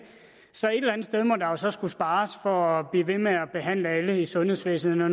så et eller andet sted må der jo så skulle spares for at blive ved med at behandle alle i sundhedsvæsenet når